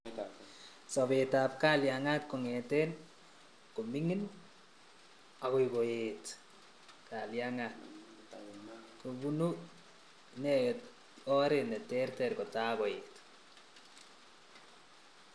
Sobetab kalyangat kong'eten komingin akoi koet kalyangat kobunu inendet oret neterter kotai koit